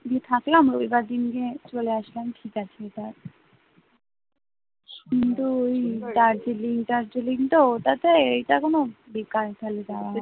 গিয়ে থাকলাম রবিবার দিন গিয়ে চলে আসলাম, ঠিক আছে এটা শুধু ওই দার্জিলিং দার্জিলিংর ওটাতে এটা কোনো বেকার খালি যাওয়া হয় না